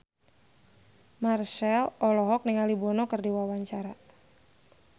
Marchell olohok ningali Bono keur diwawancara